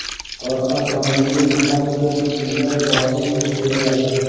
orqa panelning pastki qismida bosim kuchayadi.